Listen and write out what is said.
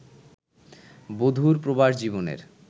বধুর প্রবাস-জীবনের